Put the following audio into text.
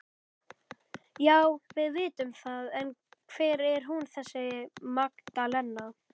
Já, við vitum það en hver er hún þessi Magdalena?